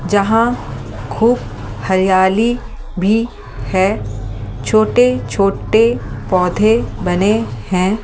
जहां खूब हरियाली भी है छोटे-छोटे पौधे बने हैं ।